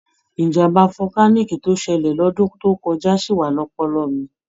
Ìjàm̀bá volcanic tó ṣẹlẹ̀ lọ́dún tó kọjá ṣì wà ní ọpọlọ mi.